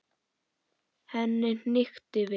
Henni hnykkti við.